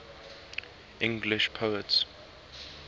english poets